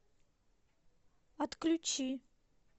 отключи